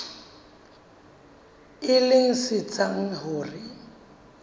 e leng se etsang hore